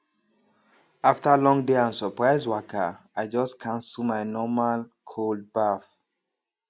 after long day and surprise waka i just cancel my normal cold baff